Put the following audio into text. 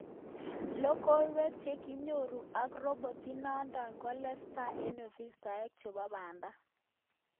Logowek chekinyoru ak robot inadot keletaas en ofisaek chepo pada